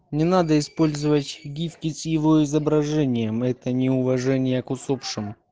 не надо использовать гифки с его изображением это неуважение к усопшим